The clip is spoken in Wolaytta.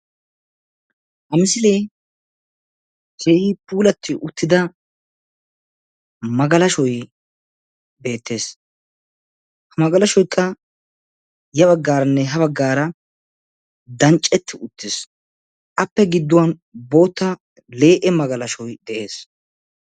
Ha misile keehi puulati uttida magalashshoy beettees. Ha magalashshoykka ya baggaaranne ha baggaara dancceti uttiis. Appe gidduwan bootta le'e magalashshoy de'ees.